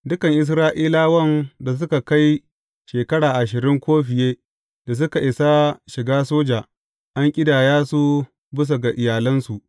Dukan Isra’ilawan da suka kai shekara ashirin ko fiye da suka isa shiga soja, an ƙidaya su bisa ga iyalansu.